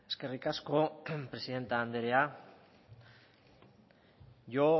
eskerrik asko presidente andrea yo